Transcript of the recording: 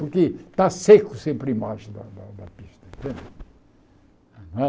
Porque está seco sempre embaixo da da da pista.